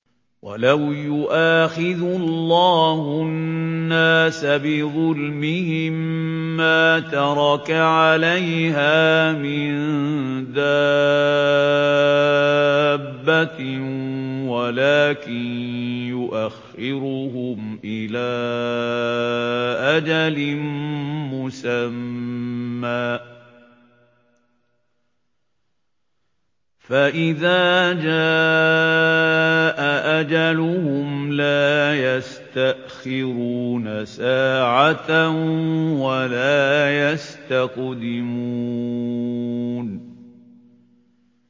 وَلَوْ يُؤَاخِذُ اللَّهُ النَّاسَ بِظُلْمِهِم مَّا تَرَكَ عَلَيْهَا مِن دَابَّةٍ وَلَٰكِن يُؤَخِّرُهُمْ إِلَىٰ أَجَلٍ مُّسَمًّى ۖ فَإِذَا جَاءَ أَجَلُهُمْ لَا يَسْتَأْخِرُونَ سَاعَةً ۖ وَلَا يَسْتَقْدِمُونَ